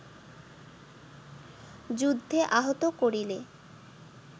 যুদ্ধে আহত করিলে